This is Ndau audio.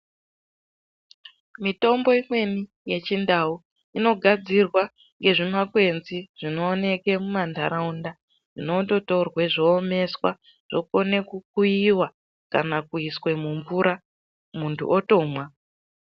Mitombo imweni yechindau, inogadzirwa nezvimakwenzi zvinowoneke mumandarawunda zvinondotorwe zvowomeswa ,zvokone kukuyiwa kana kuyiswe mumvura muntu otomwa.